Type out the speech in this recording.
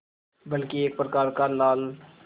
बल्कि एक प्रकार का लाल